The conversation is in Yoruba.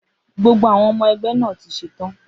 Gbogbo àwọn ọmọ ẹgbẹ́ náà ti ṣetán.